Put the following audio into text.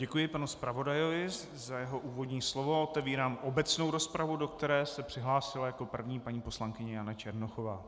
Děkuji panu zpravodaji za jeho úvodní slovo a otevírám obecnou rozpravu, do které se přihlásila jako první paní poslankyně Jana Černochová.